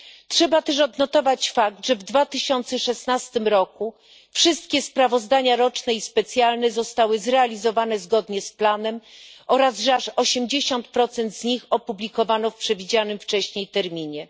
Trzeba też odnotować fakt, że w 2016 roku wszystkie sprawozdania roczne i specjalne zostały zrealizowane zgodnie z planem oraz że aż 80 z nich opublikowano w przewidzianym wcześniej terminie.